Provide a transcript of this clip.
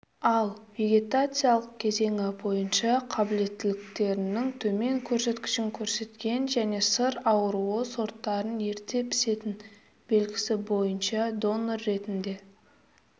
ал вегетациялық кезеңі бойынша қабілеттіліктерінің төмен көрсеткішін көрсеткен және сыр аруы сорттарын ерте пісетін белгісі бойынша донор ретінде